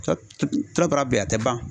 bɛ yan a tɛ ban.